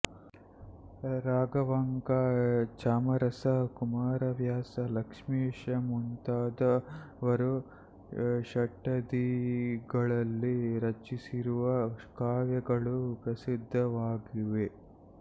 ರಾಘವಾಂಕ ಚಾಮರಸ ಕುಮಾರವ್ಯಾಸ ಲಕ್ಷ್ಮೀಶಮುಂತಾದವರು ಷಟ್ಪದಿಗಳಲ್ಲಿ ರಚಿಸಿರುವ ಕಾವ್ಯಗಳು ಪ್ರಸಿದ್ಧವಾಗಿವೆ